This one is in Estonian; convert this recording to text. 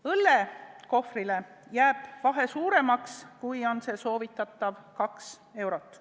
Õllekohvri puhul jääb hinnavahe suuremaks, kui on soovitatav kaks eurot.